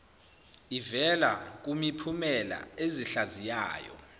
ivela kumiphumela ezihlaziyayo